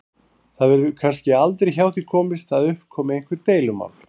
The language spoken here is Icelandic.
Það verður kannski aldrei hjá því komist að upp komi einhver deilumál.